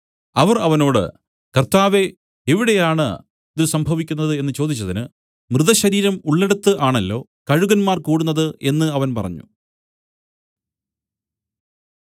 അവർ അവനോട് കർത്താവേ എവിടെയാണ് ഇതു സംഭവിക്കുന്നത് എന്നു ചോദിച്ചതിന് മൃതശരീരം ഉള്ളിടത്ത് ആണല്ലൊ കഴുകന്മാർ കൂടുന്നത് എന്നു അവൻ പറഞ്ഞു